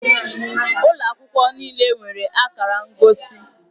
Ụlọ akwụkwọ niile nwere akara ngosi